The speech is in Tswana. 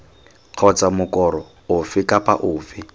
kgotsa mokoro ofe kapa ofe